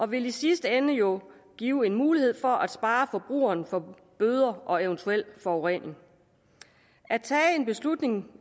vil i sidste ende jo give mulighed for at spare forbrugeren for bøder og eventuel forurening at en beslutning om